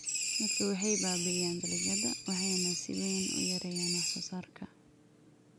Daadadku waxay baabi'iyaan dalagyada waxayna si weyn u yareeyaan wax-soo-saarka.